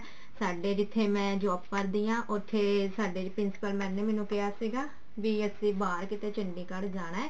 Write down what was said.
ਸਾਡੇ ਜਿੱਥੇ ਮੈਂ job ਕਰਦੀ ਹਾਂ ਉੱਥੇ ਸਾਡੇ principal mam ਨੇ ਸਾਨੂੰ ਕਿਹਾ ਸੀਗਾ ਵੀ ਅਸੀਂ ਬਾਹਰ ਕਿਤੇ ਚੰਡੀਗੜ ਜਾਣਾ